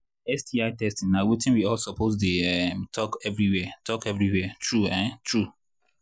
sti testing na watin we all suppose they um talk everywhere talk everywhere true um true